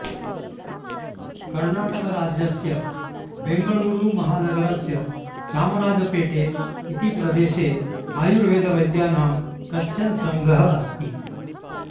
कर्णाटकराज्यस्य बेङ्गळूरुमहानगरस्य चामराजपेटे इति प्रदेशे आयुर्वेदवैद्यानां कश्चन सङ्घः अस्ति